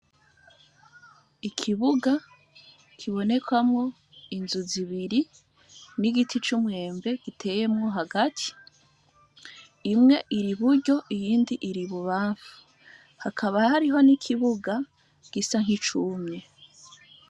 Ikibuga kibonekamwo inzu zibiri, n'igiti c'umwembe giteyemwo hagati, imwe iri iburyo iyindi iri ibubamfu. Hakaba hariho n'ikibuga gisa nk'icumye.